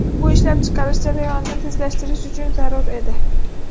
Bu ishlab chiqarish jarayonini tezlashtirish uchun zarur edi.